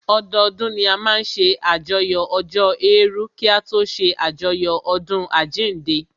Ọdọdún ni a máa n ṣe àyájọ́ ọjọ́ èèrù kí a tó ṣé àjọyọ̀ ọdún àjínde